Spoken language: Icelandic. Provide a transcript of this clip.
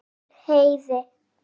Hann um Heiði.